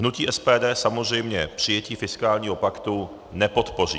Hnutí SPD samozřejmě přijetí fiskálního paktu nepodpoří.